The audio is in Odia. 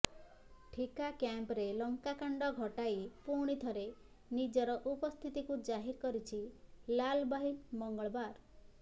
ଠିକା କ୍ୟାମ୍ପରେ ଲଙ୍କାକାଣ୍ଡ ଘଟାଇ ପୁଣିଥରେ ନିଜର ଉପସ୍ଥିତିକୁ ଜାହିର କରିଛି ଲାଲବାହିନୀ ମଙ୍ଗଳବାର